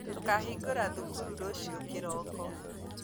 Tũkahĩngũra thukuru rũciũ kĩroko